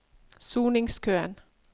soningskøen